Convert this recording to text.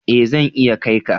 Ee zan iya kai ka.